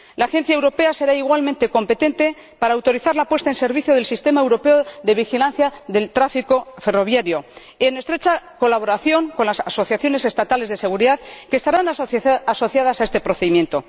La Agencia europea será igualmente competente para autorizar la puesta en servicio del sistema europeo de vigilancia del tráfico ferroviario en estrecha colaboración con las asociaciones estatales de seguridad, que estarán asociadas a este procedimiento.